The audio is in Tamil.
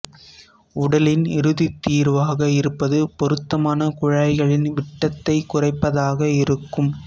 உடலின் இறுதித் தீர்வாக இருப்பது பொருத்தமான குழாய்களின் விட்டத்தைக் குறைப்பதாக இருக்கும்